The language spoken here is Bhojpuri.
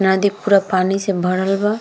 नदी पूरा पानी से भरल बा।